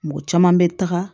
Mɔgɔ caman bɛ taga